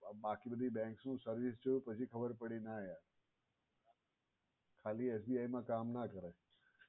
બાકી બધી bank ની service જોયું પછી ખબર પડી ના ખાલી SBI મા કામ ના કરાય.